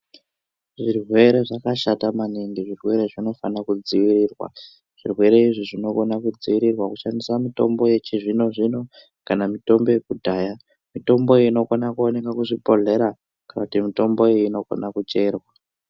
Zvirwere zvakashata maningi zvirwere zvinofana kudzivirirwa. Zvirwere izvi zvinokona kudzivirirwa kushandisa mitombo yechizvino-zvino kana mitombo yakudhaya. Mitombo iyi inokona kuoneka kuzvibhohlera kana kuti mitombo iyi inokona kucherwa.